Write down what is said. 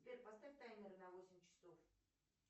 сбер поставь таймер на восемь часов